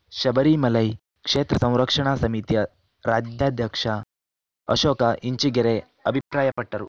ಶಬರಿಮಲೈ ಕ್ಷೇತ್ರ ಸಂರಕ್ಷಣಾ ಸಮಿತಿಯ ರಾಜ್ಯಾಧ್ಯಕ್ಷ ಅಶೋಕ ಇಂಚಿಗೆರೆ ಅಭಿಪ್ರಾಯ ಪಟ್ಟರು